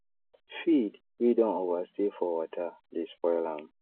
feed wey don over stay for water dey spoil am